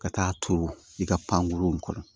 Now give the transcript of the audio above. Ka taa turu i ka pankoro in kɔnɔ